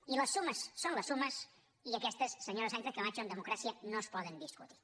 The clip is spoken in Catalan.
i les sumes són les sumes i aquestes senyora sánchez camacho en democràcia no es poden discutir